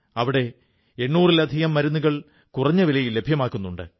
അവിടെ 800 ൽ അധികം മരുന്നുകൾ കുറഞ്ഞ വിലയിൽ ലഭ്യമാക്കുന്നുണ്ട്